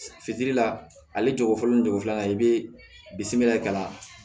Fitiri la ale jago ni cogo filanan i bɛ bisimila k'a la